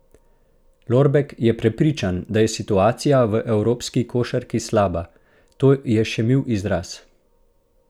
Lorbek je prepričan, da je situacija v evropski košarki slaba: "To je še mil izraz.